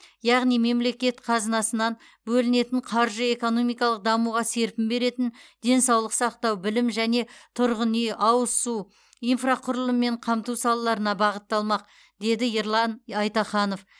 яғни мемлекет қазынасынан бөлінетін қаржы экономикалық дамуға серпін беретін денсаулық сақтау білім және тұрғын үй ауыз су инфрақұрылыммен қамту салаларына бағытталмақ деді ерлан айтаханов